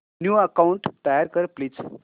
new account तयार कर please